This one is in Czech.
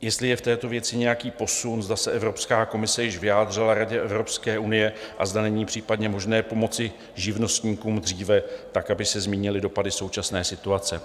jestli je v této věci nějaký posun, zda se Evropská komise již vyjádřila Radě Evropské unie a zda není případně možné pomoci živnostníkům dříve tak, aby se zmírnily dopady současné situace.